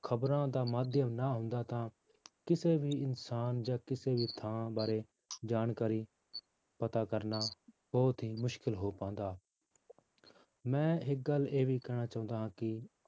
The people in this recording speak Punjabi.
ਖ਼ਬਰਾਂ ਦਾ ਮਾਧਿਅਮ ਨਾ ਹੁੰਦਾ ਤਾਂ ਕਿਸੇ ਵੀ ਇਨਸਾਨ ਜਾਂ ਕਿਸੇ ਵੀ ਥਾਂ ਬਾਰੇ ਜਾਣਕਾਰੀ ਪਤਾ ਕਰਨਾ ਬਹੁਤ ਹੀ ਮੁਸ਼ਕਲ ਹੋ ਪਾਉਂਦਾ ਮੈਂ ਇੱਕ ਗੱਲ ਇਹ ਵੀ ਕਹਿਣੀ ਚਾਹੁੰਦਾ ਹਾਂ ਕਿ